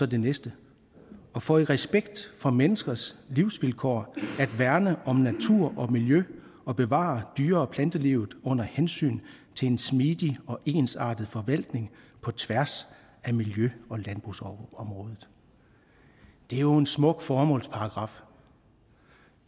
det næste for i respekt for menneskers livsvilkår at værne om natur og miljø og bevare dyre og plantelivet under hensyn til en smidig og ensartet forvaltning på tværs af miljø og landbrugsområdet det er jo en smuk formålsparagraf